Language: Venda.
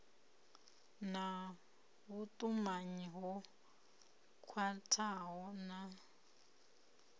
na vhutumanyi ho khwathaho na